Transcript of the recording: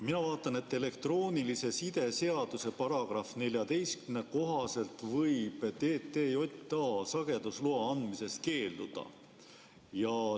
Mina vaatan, et elektroonilise side seaduse § 14 kohaselt võib TTJA sagedusloa andmisest keelduda.